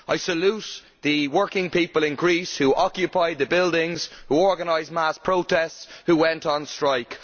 I salute the working people in Greece who occupy the buildings, who organise mass protests, who went on strike.